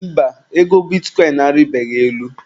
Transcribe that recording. Mba, ego bitikọịn a rịbeghị elu.